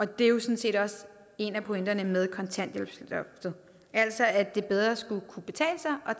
det er jo sådan set også en af pointerne med kontanthjælpsloftet altså at det bedre skulle kunne betale sig